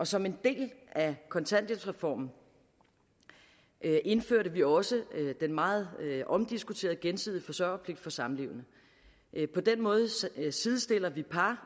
som en del af kontanthjælpsreformen indførte vi også den meget omdiskuterede gensidige forsørgerpligt for samlevende på den måde sidestiller vi par